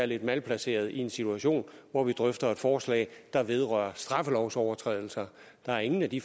lidt malplaceret i en situation hvor vi drøfter et forslag der vedrører straffelovsovertrædelser der er ingen af de